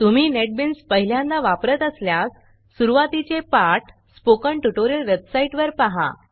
तुम्ही Netbeansनेटबिन्स पहिल्यांदा वापरत असल्यास सुरूवातीचे पाठ स्पोकन ट्युटोरियल वेबसाईटवर पहा